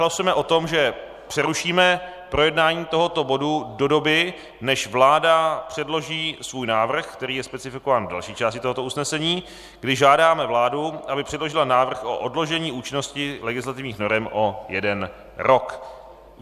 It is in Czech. Hlasujeme o tom, že přerušíme projednání tohoto bodu do doby, než vláda předloží svůj návrh, který je specifikován v další části tohoto usnesení, kdy žádáme vládu, aby předložila návrh o odložení účinnosti legislativních norem o jeden rok.